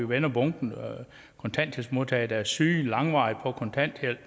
vendte bunken af kontanthjælpsmodtagere der er syge eller langvarigt på kontanthjælp